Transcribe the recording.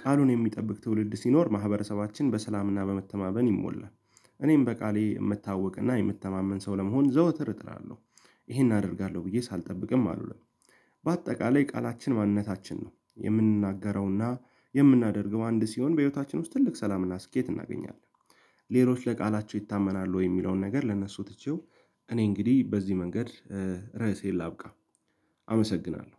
ቃሉን የሚጠብቅ ትውልድ ሲኖር ማህበረሰባችን በሰላምና በመተማመን ይሞላል። እኔም በቃሌ የምታወቅና የምተማመን ሰው ለመሆን ዘውትር እጥራለሁ። ይሄን አደርጋለሁ ብዬ ሳልጠብቅም አሉን። በአጠቃላይ ቃላችን ማንነታችን ነው የምንናገረውና የምናደርገው አንድ ሲሆን በህይወታችን ውስጥ ትልቅ ሰላምና ስኬት እናገኛለን። ሌሎች ለቃላቸው ይታመናሉ ወይ የሚለውን ነገር ለእነሱ ትቼው እኔ እንግዲህ በዚህ መንገድ ርዕሴን ላብቃ። አመሰግናለሁ።